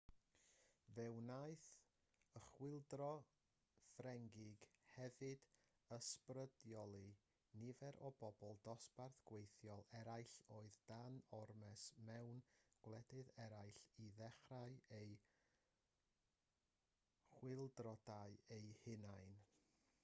fe wnaeth y chwyldro ffrengig hefyd ysbrydoli nifer o bobl dosbarth gweithiol eraill oedd dan ormes mewn gwledydd eraill i ddechrau eu chwyldroadau eu hunain